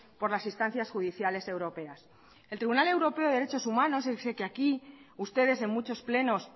por las instancias judiciales europeas el tribunal europeo de derechos humanos ese que aquí ustedes en muchos plenos